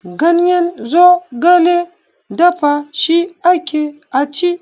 Ganyen zogale dafa shi ake a ci.